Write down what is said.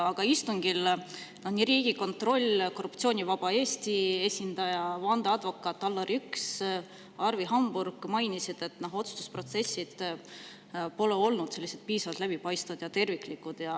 Aga istungil mainisid nii Riigikontrolli esindaja, Korruptsioonivaba Eesti esindaja, vandeadvokaat Allar Jõks kui ka Arvi Hamburg, et otsustusprotsess pole olnud piisavalt läbipaistev ja terviklik.